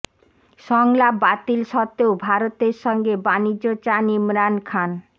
সংলাপ বাতিল সত্ত্বেও ভারতের সঙ্গে বাণিজ্য চান ইমরান খান